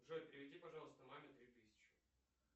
джой переведи пожалуйста маме три тысячи